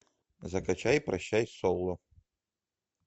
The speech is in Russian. закачай прощай соло